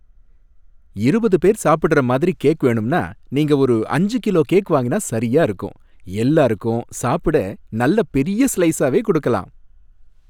இருபது பேர் சாப்பிடுற மாதிரி கேக் வேணும்னா நீங்க ஒரு அஞ்சு கிலோ கேக் வாங்கினா சரியா இருக்கும், எல்லாருக்கும் சாப்பிட நல்ல பெரிய ஸ்லைஸாவே குடுக்கலாம்.